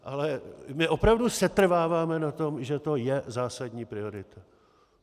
Ale my opravdu setrváváme na tom, že to je zásadní priorita.